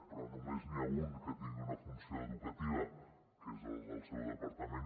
però només n’hi ha un que tingui una funció educativa que és el del seu departament